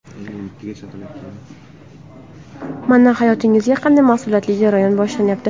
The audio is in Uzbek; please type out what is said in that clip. Mana hayotingizda qanday mas’uliyatli jarayon boshlanyapti.